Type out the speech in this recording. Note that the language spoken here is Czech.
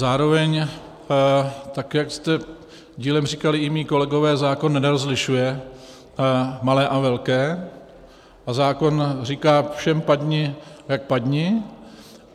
Zároveň, tak jak zde dílem říkali i moji kolegové, zákon nerozlišuje malé a velké a zákon říká, všem padni jak padni.